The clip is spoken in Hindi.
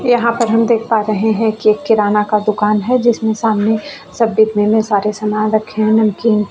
यहाँ पर हम देख पा रहे है की एक किराना का दुकान है जिसमे सामने सब बिकने में सारे सामान रखे है नमकीन--